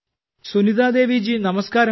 സുനിതാ ദേവി ജി നമസ്കാരം